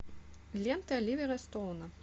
лента оливера стоуна